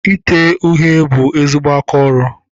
Ite uhie bụ ezigbo aka ọrụ.